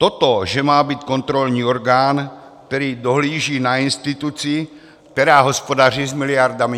Toto že má být kontrolní orgán, který dohlíží na instituci, která hospodaří s miliardami?